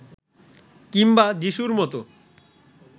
কিংবা যিশুর মতো